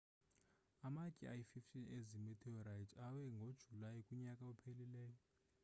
amatye ayi-15 ezi meteorite awe ngojulayi kunyaka ophelileyo